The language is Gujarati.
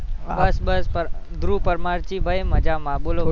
ધ્રુવ પરમાર શિહ મજામાં બોલો બોલો